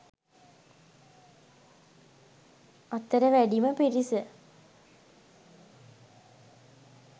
අතර වැඩිම පිරිස